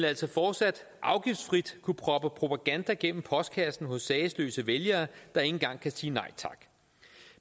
altså fortsat afgiftsfrit proppe propaganda i postkassen hos sagesløse vælgere der ikke engang kunne sige nej tak